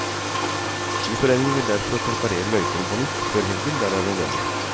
Skiforeningen vil derfor preparere løypene på nytt før helgen der det er nødvendig.